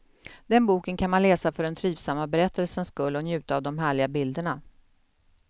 Den boken kan man läsa för den trivsamma berättelsens skull och njuta av de härliga bilderna.